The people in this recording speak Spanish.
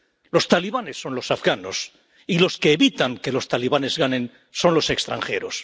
Los talibanes son los afganos y los que evitan que los talibanes ganen son los extranjeros.